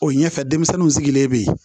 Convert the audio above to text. O ɲɛfɛ denmisɛnninw sigilen be yen